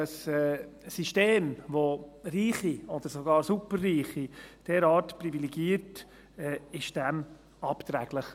Ein System, welches Reiche oder sogar Superreiche derart privilegiert, ist dem abträglich.